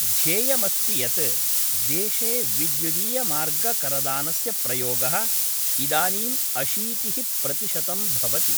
ध्येयमस्ति यत् देशे वैद्युदीयमार्गकरदानस्य प्रयोग: इदानीं अशीतिः प्रतिशतं भवति।